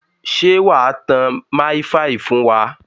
Ṣé wà á tán máìfaì fún wa?